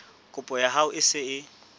kopo ya hao e se